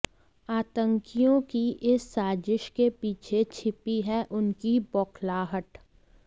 आतंकियों की इस साज़िश के पीछे छिपी है उनकी बौखलाहट